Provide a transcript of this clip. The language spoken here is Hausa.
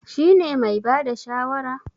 Shi ne mai bada shawara?